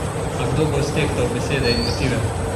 A kdo bo stehtal besede in motive?